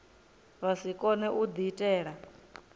vha si kone u diitela